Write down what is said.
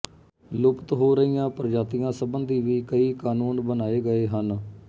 ਲੁਪਤ ਹੋ ਰਹੀਆਂ ਪ੍ਰਜਾਤੀਆਂ ਸੰਬੰਧੀ ਵੀ ਕਈ ਕਾਨੂੰਨ ਬਣਾਏ ਗਏ ਹਨ